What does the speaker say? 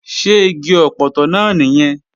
Ṣé igi ọpọtọ náà nìyẹn?